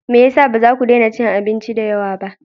Me ya sa ba za ku daina cin abinci da yawa ba?